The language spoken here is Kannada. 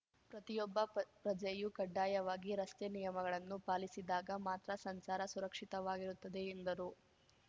ಪ್ರತಿಯೊಬ್ಬ ಪ ಪ್ರಜೆಯೂ ಕಡ್ಡಾಯವಾಗಿ ರಸ್ತೆ ನಿಯಮಗಳನ್ನು ಪಾಲಿಸಿದಾಗ ಮಾತ್ರ ಸಂಚಾರ ಸುರಕ್ಷಿತವಾಗಿರುತ್ತದೆ ಎಂದರು